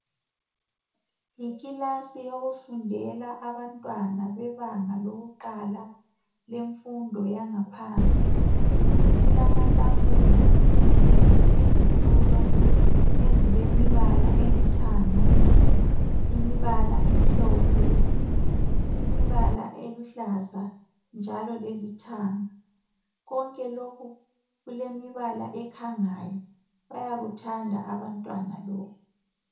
Yikilasi yokufundela abantwana bebanga lokuqala lemfundo yangaphansi, kulamatafula, izitulo ezilemibala elithanga, imibala emhlophe, imibala eluhlaza njalo lelithanga, konke lokhu kulemibala ekhangayo bayakuthanda abantwana lokhu.